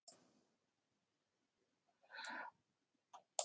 Á þröskuldinum leit besta frænka til mín viðvörunarauga